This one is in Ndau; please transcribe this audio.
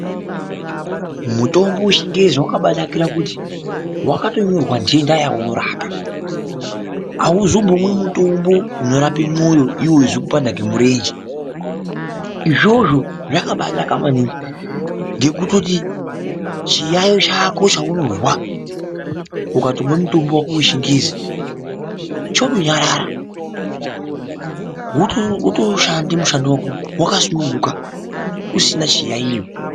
Mutombo wechingezi wakambainakira kuti wakatonyorwa ndenda yaunorapa, haumbozomwi mutombo unorape moyo iwo uckukupanda ngemureche, izvozvo zvakambainaka maningi ngekutoti chiyaiyo chako chaunonzwa ukatomwe mutombo wako vechingezi, chotonyarare otoshande mushando wako wakasununguka usina chiyaiyo.